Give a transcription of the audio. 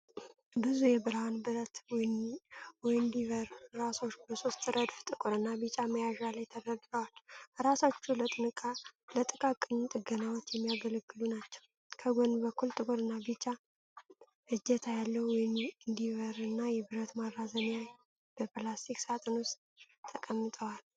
ብዙ የብርሃን ብረት ዊንዲቨር ራሶች በሶስት ረድፍ ጥቁርና ቢጫ መያዣ ላይ ተደርድረዋል። ራሶቹ ለጥቃቅን ጥገናዎች የሚያገለግሉ ናቸው። ከጎን በኩል ጥቁርና ቢጫ እጀታ ያለው ዊንዲቨር እና የብረት ማራዘሚያ በፕላስቲክ ሳጥን ውስጥ ተቀምጠዋል።